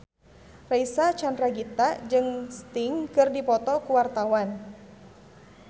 Reysa Chandragitta jeung Sting keur dipoto ku wartawan